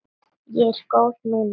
Ég er góð núna.